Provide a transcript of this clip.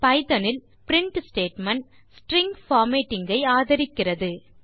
Python இல் print statement string formatting ஐ ஆதரிக்கிறது